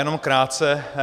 Jenom krátce.